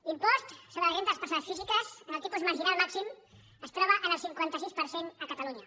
l’impost sobre la renda de les persones físiques en el tipus marginal màxim es troba en el cinquanta sis per cent a catalunya